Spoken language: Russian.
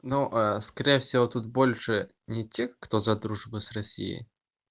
но скорее всего тут больше не тех кто за дружбу с россией